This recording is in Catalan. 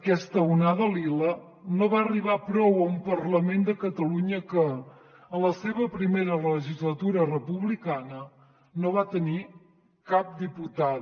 aquesta onada lila no va arribar però a un parlament de catalunya que en la seva primera legislatura republicana no va tenir cap diputada